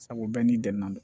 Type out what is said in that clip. Sabu bɛɛ n'i dɛmɛ n'a don